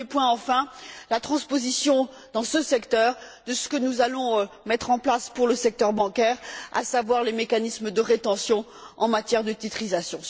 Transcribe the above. Et dernier point enfin, la transposition, dans ce secteur, de ce que nous allons mettre en place pour le secteur bancaire, à savoir les mécanismes de rétention en matière de titrisation.